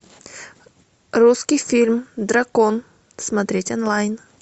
русский фильм дракон смотреть онлайн